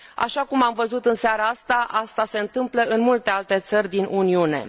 Așa cum am văzut în seara asta, asta se întâmplă în multe alte țări din Uniune.